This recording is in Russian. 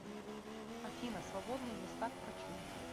афина свободные места к врачу